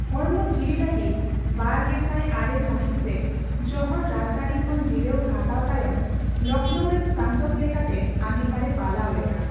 ᱦᱚᱲᱢᱚ ';,ᱡᱤᱣᱤ ᱞᱟᱹᱜᱤᱫ ᱵᱟᱨᱜᱮᱥᱟᱭ ᱟᱨᱮ ᱥᱟᱹᱦᱤᱛ ᱨᱮ ᱡᱚᱦᱚᱲ ᱨᱟᱡᱽᱟᱹᱨᱤ ᱠᱷᱚᱱ ᱡᱤᱨᱟᱹᱣ ᱦᱟᱛᱟᱣ ᱛᱟᱭᱚᱢ ᱞᱚᱠᱷᱱᱳᱣ ᱨᱮᱱ ᱥᱟᱝᱥᱚᱫ ᱞᱮᱠᱟᱛᱮ ᱟᱸᱜᱤᱷᱟᱨ ᱮ ᱯᱟᱞᱟᱣ ᱞᱮᱫᱟ ᱾